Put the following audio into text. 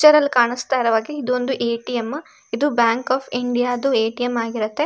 Picture ಅಲ್ಲಿ ಕಾಣಿಸ್ತಾ ಇರೋ ಹಾಗೆ ಇದೊಂದು ಎ.ಟಿ.ಎಂ ಇದು ಬ್ಯಾಂಕ್ ಒಫ್ ಇಂಡಿಯಾ ದು ಎ.ಟಿ.ಎಂ ಆಗಿರುತ್ತೆ.